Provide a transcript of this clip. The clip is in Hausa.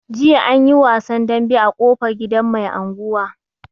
Jiya anyi wasan dambe a ƙofar gidan mai anguwa.